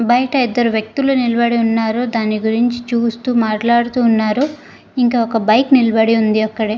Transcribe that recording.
బయట ఇద్దరు వ్యక్తులు నిలబలి ఉన్నారు దాన్ని గురించి చూస్తూ మాట్లాడుతూ ఉన్నారు ఇంకా ఒక బైక్ నిలబడి ఉంది అక్కడే.